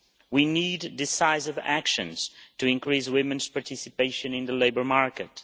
We need decisive action to increase women's participation on the labour market.